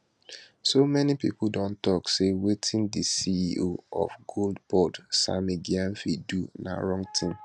so many pipo dey tok say wetin di ceo of gold board sammy gyamfi do na wrong tin